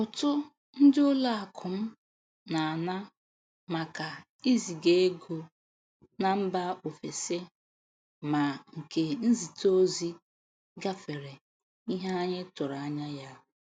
Ụtụ ndị ụlọ akụ m na-ana maka iziga ego na mba ofesi, ma nke izite ozi gafere ihe anyị tụrụ anya ya